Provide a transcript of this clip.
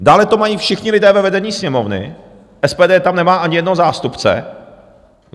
Dále to mají všichni lidé ve vedení Sněmovny - SPD tam nemá ani jednoho zástupce.